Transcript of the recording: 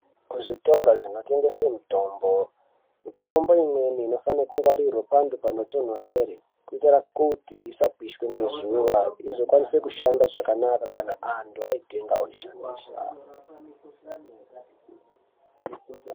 Kuzvitoro zvinotengeswe mitombo mitombo imweni inofane kungwarirwa pantu panotonhorere. Kuitira kuti isapishwa ngezuva izokwanise kushanda zvakanaka kanaantu aitenga oishandisa.